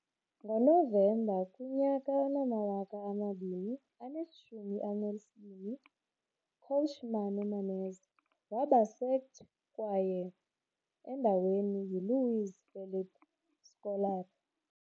Ngonovemba 2012, coach Mano Menezes waba sacked kwaye endaweni yi - Luiz Felipe Scolari.